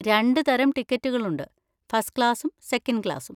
രണ്ട് തരം ടിക്കറ്റുകൾ ഉണ്ട്, ഫസ്റ്റ് ക്ലാസ്സും സെക്കൻഡ് ക്ലാസും.